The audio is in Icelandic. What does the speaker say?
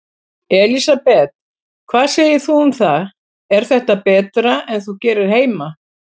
Elísabet: Hvað segir þú um það, er þetta betra en þú gerir heima?